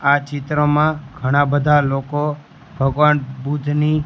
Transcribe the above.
આ ચિત્રમાં ઘણા બધા લોકો ભગવાન બુદ્ધની --